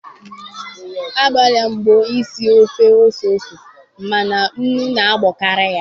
Agbalam mbọ isi ofe ose ose mana nnu na abokari ya